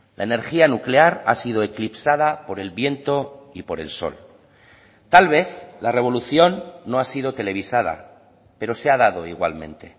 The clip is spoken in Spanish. la energía nuclear ha sido eclipsada por el viento y por el sol tal vez la revolución no ha sido televisada pero se ha dado igualmente